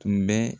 Tun bɛ